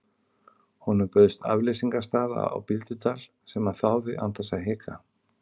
Honum bauðst afleysingarstaða á Bíldudal sem hann þáði án þess að hika.